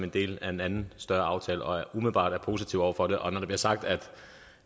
en del af en anden større aftale og umiddelbart er positive over for det og når der bliver sagt at